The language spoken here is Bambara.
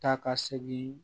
Ta ka segin